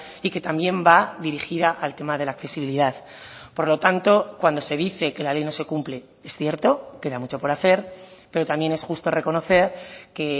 y que también va dirigida al tema de la accesibilidad por lo tanto cuando se dice que la ley no se cumple es cierto queda mucho por hacer pero también es justo reconocer que